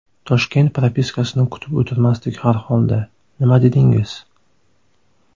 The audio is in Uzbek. Toshkent propiskasini kutib o‘tirmasdik harholda, nima dedingiz?